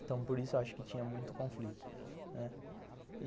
Então por isso eu acho que tinha muito conflito, né.